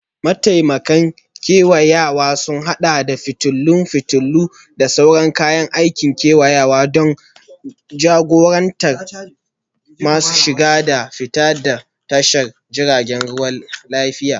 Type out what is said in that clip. Mataimakan kewayawa sun haɗa da fitilun fitilu, da sauran kayan aikin kewayawa don jagorantar tasoshin shiga da fita daga tashar jiragen ruwa lafiya.